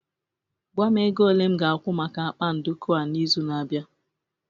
gwa m ego ole m ga-akwụ maka akpa nduku a n'izu na-abịa